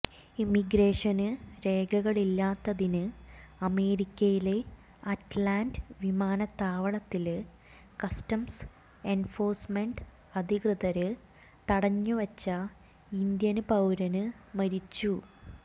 immigration രേഖകളില്ലാത്തതിന് അമേരിക്കയിലെ Atlanta വിമാനത്താവളത്തില് കസ്റ്റംസ് എന്ഫോഴ്സ്മെന്റ് അധികൃതര് തടഞ്ഞുവച്ച ഇന്ത്യന് പൌരന് മരിച്ചു